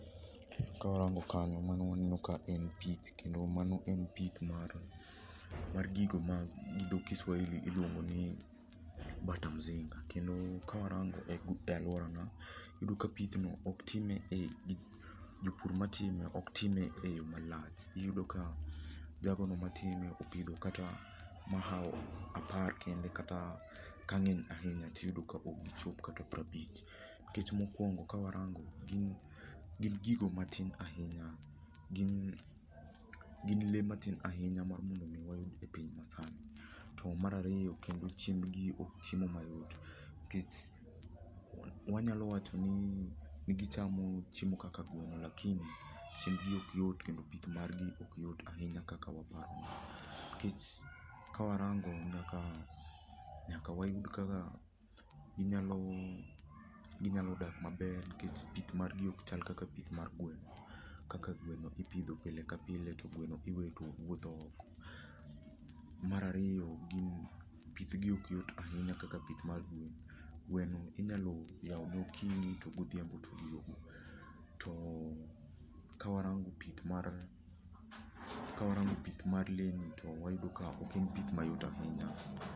Kawarango kanyo mano waneno ka en pith kendo mano en mar gigo ma gi dho Kiswahili iluongo ni bata mzinga. Kendo kawarango e aluorawa iyudo ka pithno ok time jopur matime ok time eyo malach, iyudo ka jagono matime opidho kata mahawo apar kende kata ka ng'eny ahinya to iyudo ka ok chop kata piero abich. Nikech mokuongo kawarango, gin gigo matin ahinya, gin gin lee matin ahinya mondo mi wayud e piny masani, to mar ariyo kendo chiembgi ok chiemo mayudo yot nikech wanyalo wacho ni gichamo chiemo kaka gweno lakini chiembgi ok yot kendo pith margi ok yot ahinya kaka waparo nikech ka warango nyaka wayud kaka ginyalo dak maber nikech pith margi ok chal kaka pith mar gweno, kaka gweno ipidho pile ka pile to gweno iweyo wuotho oko. Mar ariyo pith gi ok yot ahinya kaka pith mar gweno, gweno inyalo yawone okinyi to oduogo godhiambo, Kawarango pith mar lee ni to wayudo ka ok en pith mayot ahinya.